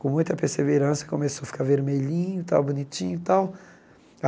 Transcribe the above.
Com muita perseverança, começou a ficar vermelhinho e tal, bonitinho e tal.